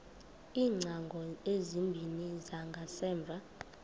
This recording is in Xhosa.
iingcango ezimbini zangasemva